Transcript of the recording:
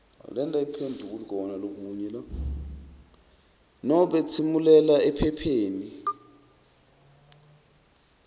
nobe tsimulela ephepheni